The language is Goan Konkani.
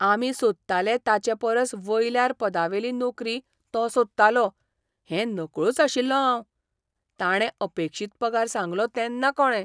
हावराह पोरबंदर एक्सप्रॅस